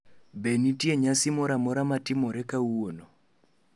be nitie nyasi mora mora matimore buare kawuono